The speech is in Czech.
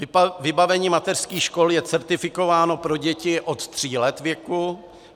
Vybavení mateřských škol je certifikováno pro děti od tří let věku.